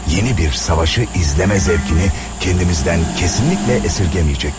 Yeni bir savaşı izleme zevkini kendimizden kesinlikle esirgemeyecektik.